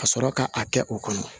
Ka sɔrɔ ka a kɛ o kɔnɔ